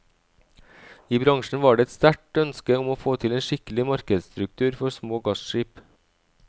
I bransjen var det et sterkt ønske om å få til en skikkelig markedsstruktur for små gasskip.